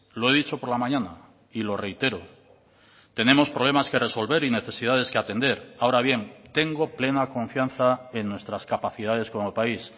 lo he dicho por la mañana y lo reitero tenemos problemas que resolver y necesidades que atender ahora bien tengo plena confianza en nuestras capacidades como país